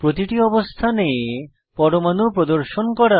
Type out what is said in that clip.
প্রতিটি অবস্থানে পরমাণু প্রদর্শন করা